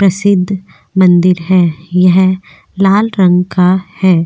प्रसिद्ध मंदिर है यह लाल रंग का है।